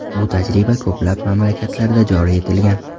Bu tajriba ko‘plab mamlakatlarda joriy etilgan.